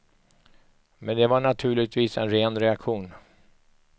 Men det var naturligtvis en ren reaktion.